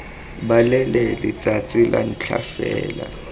balele letsatsi la ntlha fela